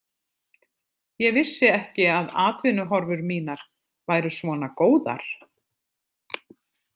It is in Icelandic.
Ég vissi ekki að atvinnuhorfur mínar væru svona góðar.